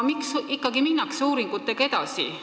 Miks siiski minnakse uuringutega edasi?